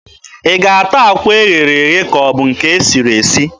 Ị ga-ata akwa e ghere eghe ka ọ bụ nke e siri esi?